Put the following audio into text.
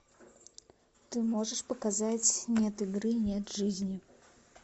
ты можешь показать нет игры нет жизни